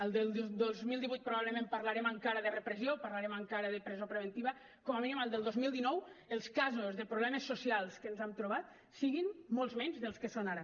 al del dos mil divuit probablement parlarem encara de repressió parlarem encara de presó preventiva com a mínim al del dos mil dinou els casos de problemes socials que ens hem trobat siguin molts menys dels que són ara